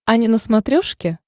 ани на смотрешке